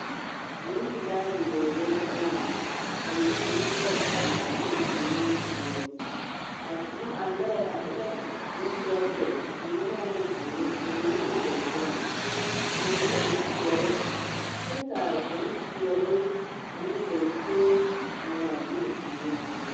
Nempelaa bidͻͻlee la gaŋe, ka bibiiri lͻԑ a ŋmaa gyili o nimisogͻ. A boŋ, a lͻԑ e la tԑԑtԑԑ, mine waa la zeere ka mine e dͻsͻŋ ka mine peԑle kyԑ ka a bompeԑle ane genteŋ a ŋmaa gyili o niŋe sogͻ.